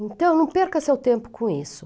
Então, não perca seu tempo com isso.